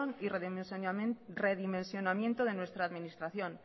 y redimensionamiento de nuestra administración